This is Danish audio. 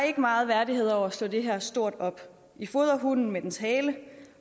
ikke meget værdighed over at slå det her stort op i fodrer hunden med dens hale